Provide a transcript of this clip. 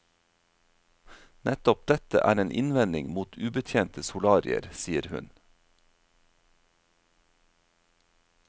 Nettopp dette er en innvending mot ubetjente solarier, sier hun.